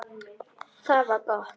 Það var gott